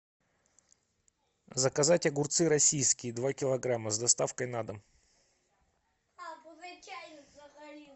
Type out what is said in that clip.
заказать огурцы российские два килограмма с доставкой на дом